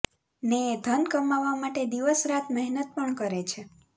ને એ ધન કમાવા માટે દિવસ રાત મહેનત પણ કરે છે